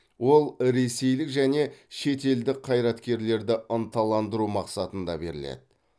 ол ресейлік және шетелдік қайраткерлерді ынталандыру мақсатында беріледі